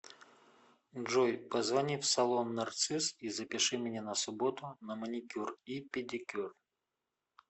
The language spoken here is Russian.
джой позвони в салон нарцисс и запиши меня на субботу на маникюр и педикюр